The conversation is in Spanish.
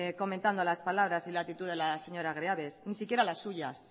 comentando las palabras y la actitud de la señora greaves ni siquiera las suyas